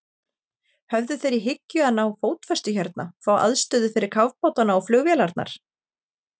Höfðu þeir í hyggju að ná fótfestu hérna, fá aðstöðu fyrir kafbátana og flugvélarnar?